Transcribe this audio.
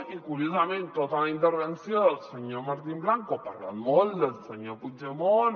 i curiosament tota la intervenció del senyor mar·tín blanco parlant molt del senyor puigdemont